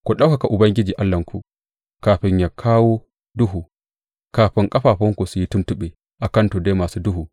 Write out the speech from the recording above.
Ku ɗaukaka Ubangiji Allahnku kafin ya kawo duhu, kafin ƙafafunku su yi tuntuɓe a kan tuddai masu duhu.